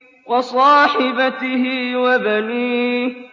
وَصَاحِبَتِهِ وَبَنِيهِ